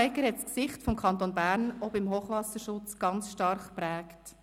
Barbara Egger hat das Gesicht des Kantons auch beim Hochwasserschutz sehr stark geprägt.